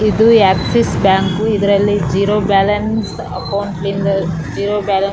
ಇದು Axis bank ಇದ್ರಲ್ಲಿ zero balance account ಲಿಂದ ಜಿರೋ ಬ್ಯಾಲೆನ್ಸ್ --